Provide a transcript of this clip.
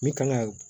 Min kan ka